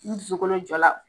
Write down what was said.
I so kolo jɔ la.